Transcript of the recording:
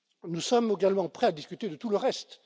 Nous sommes également prêts à discuter de tout le reste.